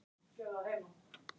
Hvíl í friði Guðs.